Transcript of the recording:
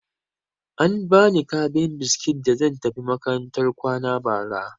An ba ni kabin biskit da zan tafi makarantar kwana bara.